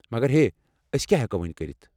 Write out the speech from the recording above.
مگر ہے، ٲسۍ کیٚا ہیٚکو وونۍ کٔرِتھ؟